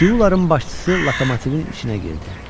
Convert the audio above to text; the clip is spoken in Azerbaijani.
Siuların başçısı lokomotivin içinə girdi.